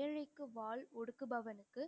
ஏழைக்கு வாள் ஒடுக்குபவனுக்கு